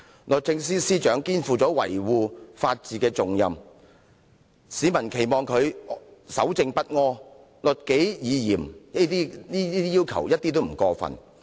律政司司長肩負維護法治的重任，市民期望她守正不阿、律己以嚴一點也不過分。